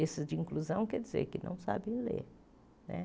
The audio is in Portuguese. Esses de inclusão quer dizer que não sabem ler né.